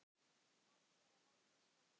Barn þeirra Valdís Hrafna.